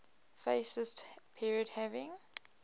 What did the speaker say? fascist period having